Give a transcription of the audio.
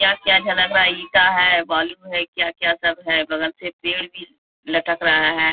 क्या क्या झलक रहा है | ईटा है बालू है क्या क्या सब है बगल से पेड़ भी लटक रहा है।